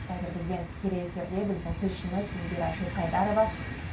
қазір бізбен тікелей эфирде біздің тілшіміз индира жылқайдарова